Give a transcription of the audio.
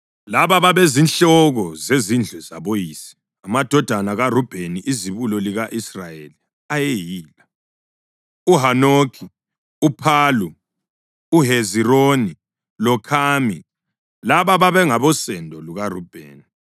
Laba babezinhloko zezindlu zaboyise: Amadodana kaRubheni, izibulo lika-Israyeli ayeyila: uHanokhi, uPhalu, uHezironi, loKhami. Laba babengabosendo lukaRubheni.